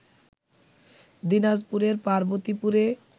দিনাজপুরের পার্বতীপুরে